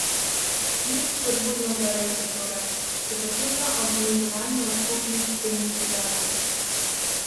Nič spodbudno za rejce torej, še posebno ob zniževanju odkupnih cen živali.